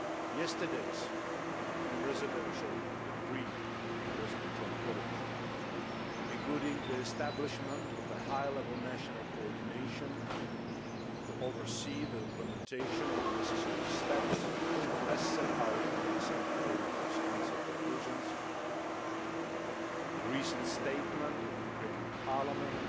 Yesterday's Presidential Decree by President Yanukovych, including the establishment of a high level national coordination to oversee the implementation of the necessary steps, as set out in the December Foreign Affairs Council Conclusions, the recent Statement of the Ukrainian Parliament